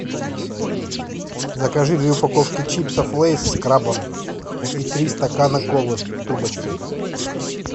закажи две упаковки чипсов лейс с крабом и три стакана колы с трубочкой